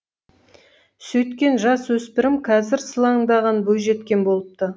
сөйткен жас өспірім қазір сылаңдаған бойжеткен болыпты